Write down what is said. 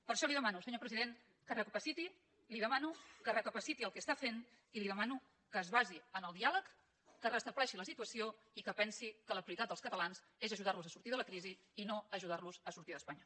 per això li demano senyor president que recapaciti li demano que recapaciti el que està fent i li demano que es basi en el diàleg que restableixi la situació i que pensi que la prioritat dels catalans és ajudar los a sortir de la crisi i no ajudar los a sortir d’espanya